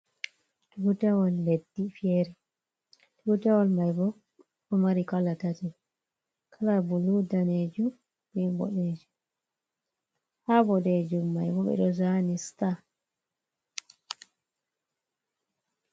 Tutawol leddi fere tutawol mai bo ɗo mari kala tati kala bulu, danejum be boɗejum. Ha boɗejum mai bo ɓe ɗo zani sta.